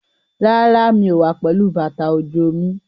Rárá, mi ò wá pẹ̀lú bàtà òjò mi.